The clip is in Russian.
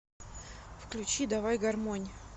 включи давай гармонь